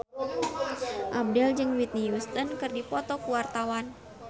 Abdel jeung Whitney Houston keur dipoto ku wartawan